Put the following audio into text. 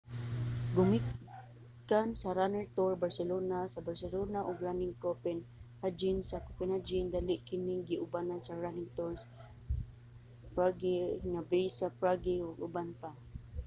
gumikan sa running tour barcelona sa barcelona ug running copenhagen sa copenhagen dali kining giubanan sa running tours prague nga base sa prague ug uban pa